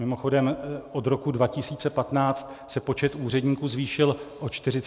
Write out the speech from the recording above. Mimochodem, od roku 2015 se počet úředníků zvýšil o 45 tisíc.